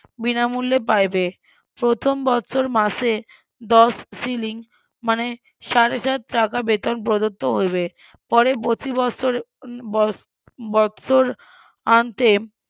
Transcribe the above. বিনামুল্যে পাইবে, প্রথম বছর মাসে দশ শিলিং মানে সাড়ে চার টাকা বেতন প্রদত্ত হইবে, পরের প্রতি বৎসর বত বৎসরান্তে,